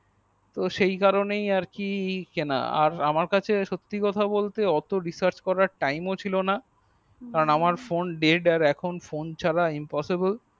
তো সেই কারণে কেনা আমার কাছে সত্যি কথা বলতে অত resarch করার টাইম ও ছিল না